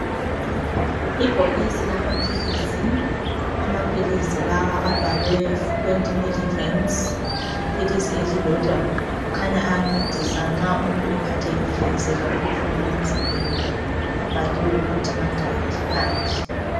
Ibhokisi lamaphilizi, amaphilizi lawa abhalwe 20mg ngephilisi elilodwa, kukhanya ayancedisa nxa umuntu ephathekile esizwa ibuhlungu emzimbeni. Abhaliwe ukuthi mangaki phandle.